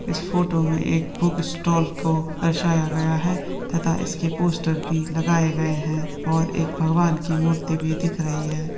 इस फोटो मैं एक बूक स्टॉल को दर्शाया है तथा इसके पोस्टर भी लगाए गए है और एक भगवान की मूर्ति भी दिख रही है।